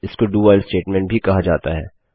इसको do while statement भी कहा जाता है